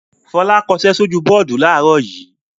Fọlá kọṣẹ́ sójú bọ́ọ́dù láàárọ̀ yìí.